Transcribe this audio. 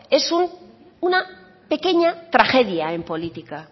es una pequeña tragedia en política